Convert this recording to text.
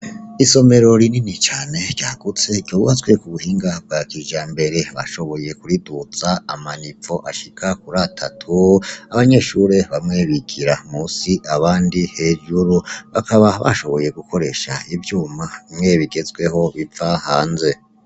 Isomero rinini cane ryagutse ryubatswe kubuhinga bwa kijambere bashoboye kuriduza ama nivo ashika kur'atatu, abanyeshure bamwe bigira musi abandi hejuru bakaba bashoboye gukoresha ivyuma bimwe bigezweho biva hanze.